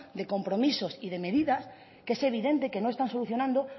de compromisos y de medidas que es evidente que no están solucionando